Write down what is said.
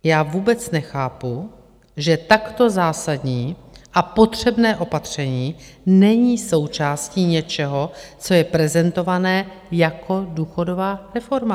Já vůbec nechápu, že takto zásadní a potřebné opatření není součástí něčeho, co je prezentované jako důchodová reforma.